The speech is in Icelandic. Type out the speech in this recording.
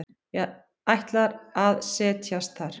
Ætlar að set jast þar.